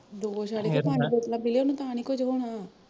ਦੋ ਛੱਡ ਕੇ ਪੰਜ ਬੋਤਲ ਪੀਜੈ ਉਹਨੂੰ ਤਾਂ ਨੀ ਕੁਜ ਹੋਣਾ